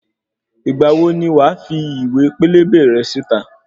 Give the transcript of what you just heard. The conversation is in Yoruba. Ìgbà wo ni wàá fi ìwé pélébé rẹ síta?